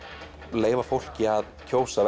leyfa fólki að kjósa